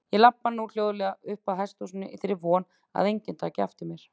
Ég labba nú hljóðlega uppað hesthúsinu í þeirri von að enginn taki eftir mér.